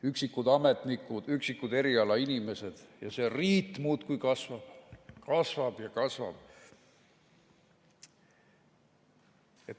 Üksikud ametnikud, üksikud erialainimesed ja see riit muudkui kasvab, kasvab ja kasvab.